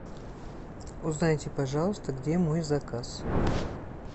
узнайте пожалуйста где мой заказ